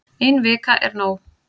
Ein vika er nóg